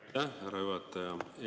Aitäh, härra juhataja!